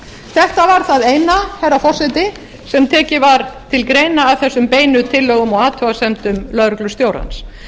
þetta var það eina herra forseti sem tekið var til greina af þessum einu tillögum og athugasemdum lögreglustjórans